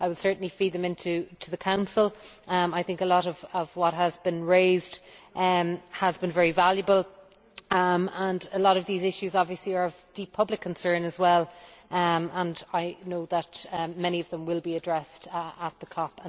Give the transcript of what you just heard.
I will certainly feed them back to the Council. I think a lot of what has been raised has been very valuable and a lot of these issues are obviously of deep public concern as well, and I know that many of them will be addressed at the COP.